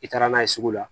I taara n'a ye sugu la